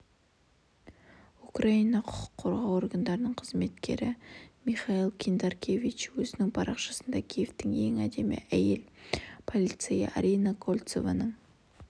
украина құқық қорғау органдарының қызметкері михаил киндракевич өзінің парақшасында киевтің ең әдемі әйел полицейі арина кольцованың